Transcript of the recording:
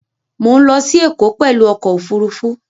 Mọ̀ ń lọ sí Ẹ̀kọ́ pẹ̀lú ọkọ̀ Òfurufú